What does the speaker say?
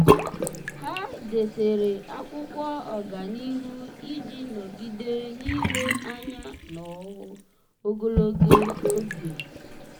há dèsere ákwụ́kwọ́ ọ́gànihu iji nọ́gídé n’ílé anya n’ọ́hụ́ụ ogologo oge ha.